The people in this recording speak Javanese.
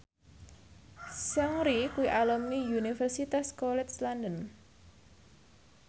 Seungri kuwi alumni Universitas College London